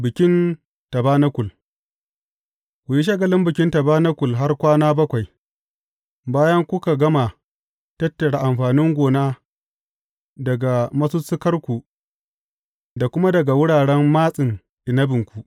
Bikin tabanakul Ku yi shagalin Bikin Tabanakul har kwana bakwai, bayan kuka gama tattara amfanin gona daga masussukarku da kuma daga wuraren matsin inabinku.